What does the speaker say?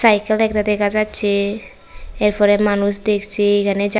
cycle একতা দেখা যাচ্ছে এরপরে মানুষ দেখছে এখানে--